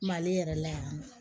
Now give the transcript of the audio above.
Mali yɛrɛ la yan nɔ